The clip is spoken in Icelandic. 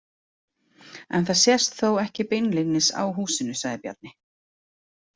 En það sést þó ekki beinlínis á húsinu, sagði Bjarni.